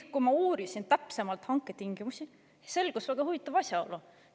Kui ma uurisin täpsemalt hanketingimusi, siis selgus väga huvitav asjaolu.